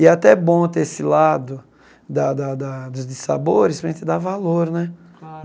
E é até bom ter esse lado da da da de sabores para a gente dar valor, né? Claro